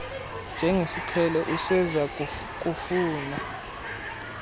njengesiqhelo useza kufuna